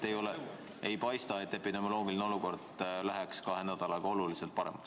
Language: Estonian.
Ei paista, et epidemioloogiline olukord läheb kahe nädalaga oluliselt paremaks.